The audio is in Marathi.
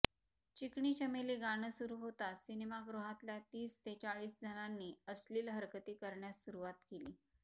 चिकनी चमेली गाणं सुरु होताच सिनेमागृहातल्या तीस ते चाळीस जणांनी अश्लिल हरकती करण्यास सुरुवात केली